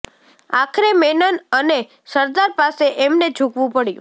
આખરે મેનન અને સરદાર પાસે એમને ઝૂકવું પડ્યું